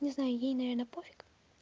не знаю ей наверное пофиг